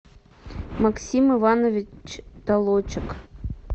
максим иванович толочек